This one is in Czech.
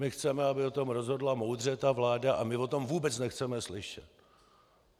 My chceme, aby o tom rozhodla moudře ta vláda, a my o tom vůbec nechceme slyšet.